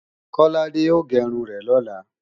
Kọ́ládé ò gé irun rẹ̀ lọ́la